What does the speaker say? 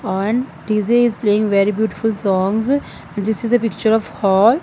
and dj is playing very beautiful songs and this is a picture of hall.